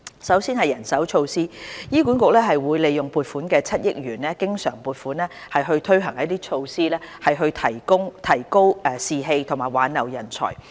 首先，人手措施方面，醫管局會利用增撥的7億元經常撥款，推行措施以提高士氣和挽留人才。